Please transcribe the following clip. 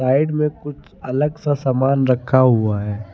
Side में कुछ अलग सा समान रखा हुआ है।